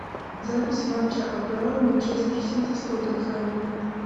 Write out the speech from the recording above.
запись матча апл манчестер сити с тоттенхэмом